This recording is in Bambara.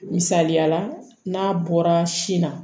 Misaliyala n'a bɔra sin na